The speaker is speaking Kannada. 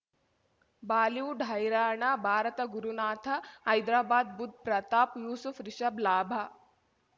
ಬಾಲಿವುಡ್ ಹೈರಾಣ ಭಾರತ ಗುರುನಾಥ ಹೈದರಾಬಾದ್ ಬುಧ್ ಪ್ರತಾಪ್ ಯೂಸುಫ್ ರಿಷಬ್ ಲಾಭ